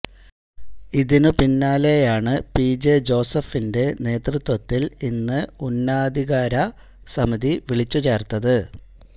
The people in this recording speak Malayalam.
ഇതിനു പിന്നാലെയാണ് പി ജെ ജോസഫിന്റെ നേതൃത്വത്തില് ഇന്ന് ഉന്നതാധികാര സമിതി വിളിച്ചു ചേര്ത്തത്